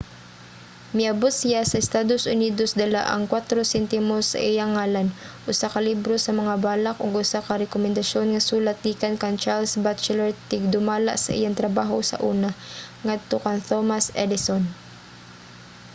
miabot siya sa estados unidos dala ang 4 sentimos sa iyang ngalan usa ka libro sa mga balak ug usa ka rekomendasyon nga sulat gikan kang charles batchelor tigdumala sa iyang trabaho sa una ngadto kang thomas edison